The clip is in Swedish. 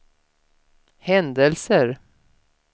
händelser